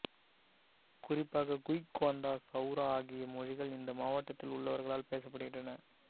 குறிப்பாக குய் கோந்தா சௌரா ஆகிய மொழிகள் இந்த மாவட்டத்தில் உள்ளவர்களால் பேசப்படுகின்றன